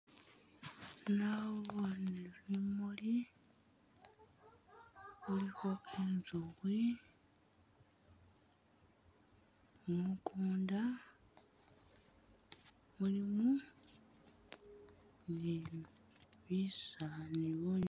Naboone bimuuli bilkho i'nzukhi mukuunda mulimu ni bisala ni bu......